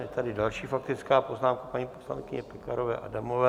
Je tady další faktická poznámka paní poslankyně Pekarové Adamové.